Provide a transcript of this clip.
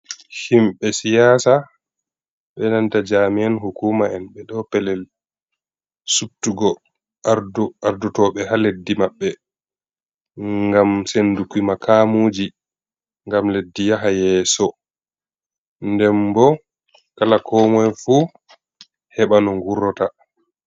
Himɓe siyaasa, be nanta jami`an hukuuma'en, ɓe ɗo pellel subtugo ardotooɓe haa leddi maɓɓe, ngam sennduki mukaamuuji ngam leddi yaha yeeso, nden bo kala koomoy fuu heɓa no ngurota.